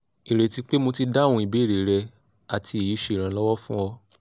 ireti pe mo ti dahum ibere re ati eyi se iranlowo fun o